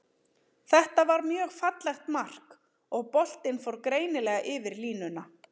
Þetta var mjög fallegt mark, og boltinn fór greinilega yfir línuna.